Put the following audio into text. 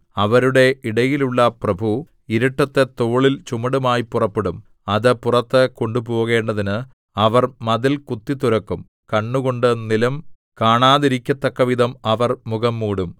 അവരുടെ ഇടയിലുള്ള പ്രഭു ഇരുട്ടത്ത് തോളിൽ ചുമടുമായി പുറപ്പെടും അത് പുറത്ത് കൊണ്ടുപോകേണ്ടതിന് അവർ മതിൽ കുത്തിത്തുരക്കും കണ്ണുകൊണ്ട് നിലം കാണാതിരിക്കത്തക്കവിധം അവൻ മുഖം മൂടും